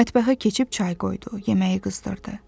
Mətbəxə keçib çay qoydu, yeməyi qızdırdı.